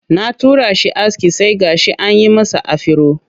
Na tura shi aske sai gashi an yi masa afiro